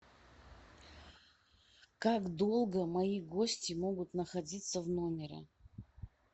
как долго мои гости могут находится в номере